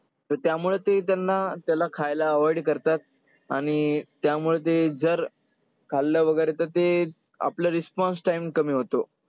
तर त्यामुळे ते त्यांना त्याला खायला avoid करतात आणि त्यामुळे ते जर खाल्लं वगैरे तर ते आपलं response time कमी होतो.